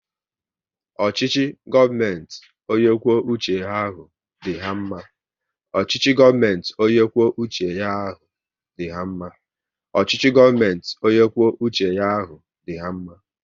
Ọchịchị gọọmenti ọnye kwụọ uche ya ahụ dị ha mma